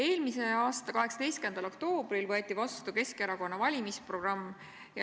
Eelmise aasta 13. oktoobril võeti vastu Keskerakonna valimisprogramm.